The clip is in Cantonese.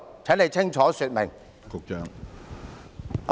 請局長清楚說明。